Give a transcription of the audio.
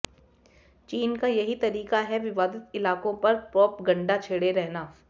चीन का यही तरीका है विवादित इलाकों पर प्रोपगंडा छेड़े रहना